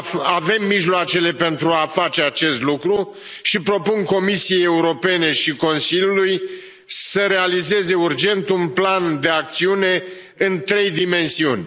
Avem mijloacele pentru a face acest lucru și propun Comisiei Europene și Consiliului să realizeze urgent un plan de acțiune în trei dimensiuni.